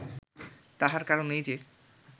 তাহার কারণ এই যে